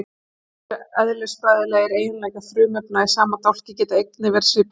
sumir eðlisfræðilegir eiginleikar frumefna í sama dálki geta einnig verið svipaðir